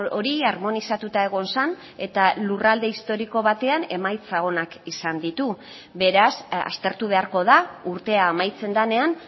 hori harmonizatuta egon zen eta lurralde historiko batean emaitza onak izan ditu beraz aztertu beharko da urtea amaitzen denean